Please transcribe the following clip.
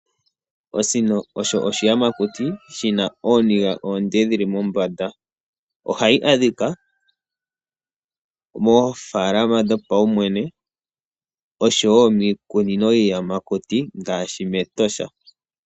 Osino osho oshiyamakuti shi na ooniga oonde dhi li mombanda. Ohayi adhika moofaalama dhopaumwene osho wo miikunino yiiyamakuti ngaashi mEtosha.